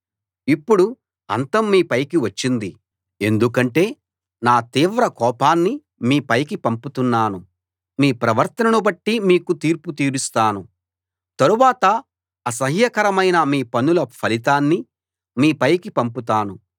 ఇప్పుడు అంతం మీ పైకి వచ్చింది ఎందుకంటే నా తీవ్ర కోపాన్ని మీ పైకి పంపుతున్నాను మీ ప్రవర్తనను బట్టి మీకు తీర్పు తీరుస్తాను తరువాత అసహ్యకరమైన మీ పనుల ఫలితాన్ని మీపైకి పంపుతాను